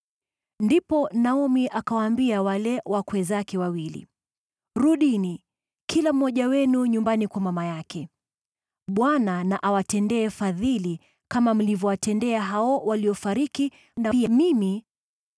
Ndipo Naomi akawaambia wale wakwe zake wawili, “Rudini, kila mmoja wenu nyumbani kwa mama yake. Bwana na awatendee fadhili kama mlivyowatendea hao waliofariki, na pia mimi.